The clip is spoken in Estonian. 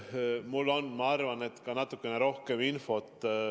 Mul on, ma arvan, natukene rohkem infot.